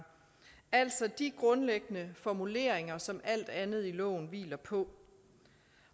altså de grundlæggende formuleringer som alt andet i loven hviler på